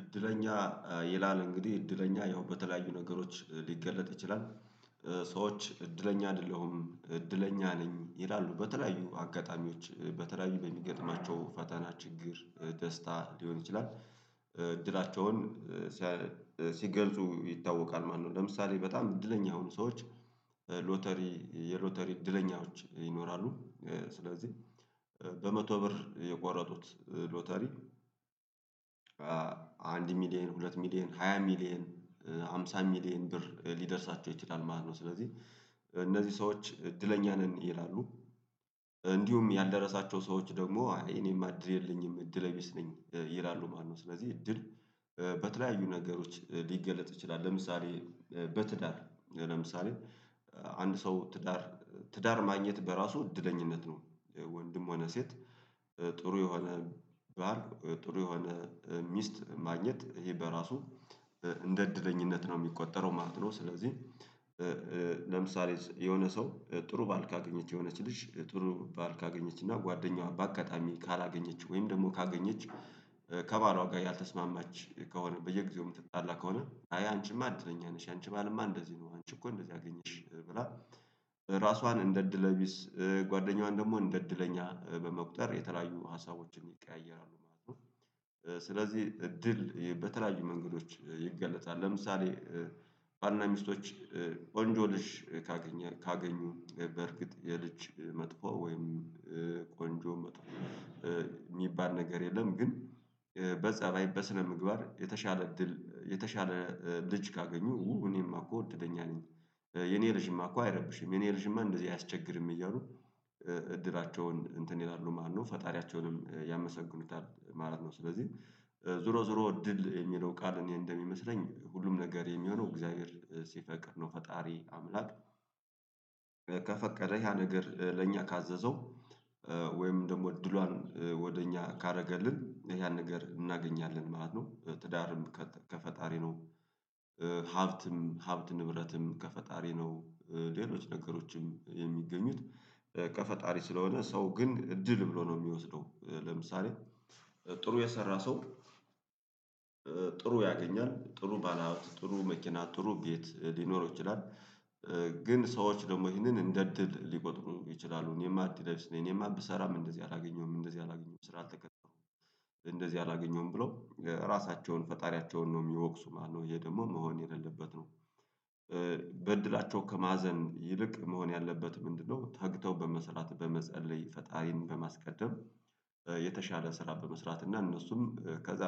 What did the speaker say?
እድለኛ ይላል እንግዲህ እድለኛ ያው በተለያዩ ነገሮች ሊገለጥ ይችላል። ሰዎች እድለኛ አይደለሁም እድለኛ ነኝ ይላሉ በተለያዩ አጋጣሚዎች በተለያዩ በሚገጥማቸው ፈተና ችግር ደስታ ሊሆን ይችላል። እድላቸውን ሲገልጹ ይታወቃል ማለት ነው። ለምሳሌ በጣም እድለኛ የሆኑ ሰዎች ሎተሪ የሎተሪ እድለኞች ይኖራሉ። ስለዚህ በመቶ ብር የቆረጡት ሎተሪ አንድ ሚሊየን ሁለት ሚሊየን ሃያ ሚሊየን ሃምሳ ሚሊየን ብር ሊደርሳቸው ይችላል ማለት ነው። ስለዚህ እነዚህ ሰዎች እድለኛ ነን ይላሉ። እንዲሁም ያልደረሳቸው ሰዎች ደግሞ እኔም እድል የለኝም እድለቢስ ነኝ ይላሉ ማለት ነው። ስለዚህ እድል በተለያዩ ነገሮች ሊገለጥ ይችላል። ለምሳሌ በትዳር ለምሳሌ አንድ ሰው ትዳር ትዳር ማግኘት በራሱ እድለኝነት ነው። ወንድም ሆነ ሴት ጥሩ የሆነ ባል ጥሩ የሆነ ሚስት ማግኘት ይሄ በራሱ እንደ እድለኛነት ነው የሚቆጠረው ማለት ነው። ስለዚህ ለምሳሌ የሆነ ሰው ጥሩ ባል ካገኘች የሆነች ልጅ ጥሩ ባል ካገኘች እና ጓደኛዋ በአጋጣሚ ካላገኘችው ወይም ደግሞ ካገኘችው ከባሏ ጋር ያልተስማማች ከሆነ በየጊዜው የምትጣላ ከሆነ አይ አንቺማ እድለኛ ነሽ የአንቺ ባልማ እንደዚህ ነው። አንቺ እኮ እንደዚህ አገኘሽ ብላ ራሷን እንደ እድለ ቢስ ጓደኛዋን ደግሞ እንደ እድለኛ በመቁጠር የተለያዩ ሀሳቦችን ይቀያየራሉ ማለት ነው። ስለዚህ እድል በተለያዩ መንገዶች ይገለጣል። ለምሳሌ ባልና ሚስቶች ቆንጆ ልጅ ካገኘ ካገኙ በርግጥ የልጅ መጥፎ ወይም ቆንጆ የሚባል ነገር የለም። ግን በጸባይ በስነ ምግባር የተሻለ እድል የተሻለ ልጅ ካገኙ ኡ እኔማ እኮ እድለኛ ነኝ። የኔ ልጅማ እኮ አይረብሽም የኔ ልጅማ እንደዚህ አያስቸግርም እያሉ እድላቸውን እንትን ይላሉ ማለት ነው ፈጣሪያቸውንም ያመሰግኑታል ማለት ነው። ስለዚህ ዙሮ ዙሮ ድል የሚለው ቃል እኔ እንደሚመስለኝ ሁሉም ነገር የሚሆነው እግዚአብሔር ሲፈቅድ ነው። ፈጣሪ አምላክ ከፈቀደ ያ ነገር ለእኛ ካዘዘው ወይም ደግሞ እድሏን ወደ እኛ ካደረገልን ያን ነገር እናገኛለን ማለት ነው። ትዳርም ከፈጣሪ ነው። ሀብትም ሀብት ንብረትም ከፈጣሪ ነው። ሌሎች ነገሮችም የሚገኙት ከፈጣሪ ስለሆነ ሰው ግን እድል ብሎ ነው የሚወስደው። ለምሳሌ ጥሩ የሰራ ሰው ጥሩ ያገኛል ጥሩ ባለሀብት ጥሩ መኪና ጥሩ ቤት ሊኖረው ይችላል። ግን ሰዎች ደግሞ ይሄንን እንደ እድል ሊቆጥሩ ይችላሉ እኔማ እድለቢስ ነኝ እኔማ ብሰራም እንደዚህ አላገኘሁም እንደዚህ አላገኘሁም ስራ አልተቀጠርኩም። እንደዚህ አላገኘውም ብለው ራሳቸውን ፈጣሪያቸውን ነው የሚወቅሱ ማነው ይሄ ደግሞ መሆን የሌለበት ነው። በእድላቸው ከማዘን ይልቅ መሆን ያለበት ምንድነው? ተግተው በመስራት በመጸለይ ፈጣሪን በማስቀደም የተሻለ ስራ በመስራት እና እነሱም ከዛ